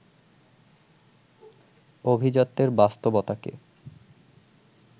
অভিজাত্যের বাস্তবতাকে